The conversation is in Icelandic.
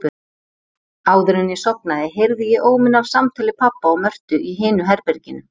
Áðuren ég sofnaði heyrði ég óminn af samtali pabba og Mörtu í hinu herberginu.